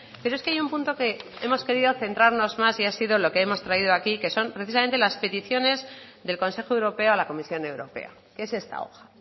pero es que hay un punto que hemos querido centrarnos más y ha sido lo que hemos traído aquí que son precisamente las peticiones del consejo europeo a la comisión europea que es esta hoja